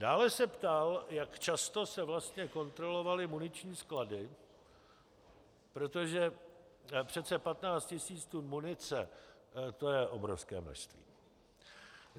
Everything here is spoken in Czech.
Dále se ptal, jak často se vlastně kontrolovaly muniční sklady, protože přece 15 tisíc tun munice, to je obrovské množství.